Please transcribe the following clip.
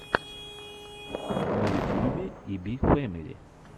на ютьюбе и би фэмили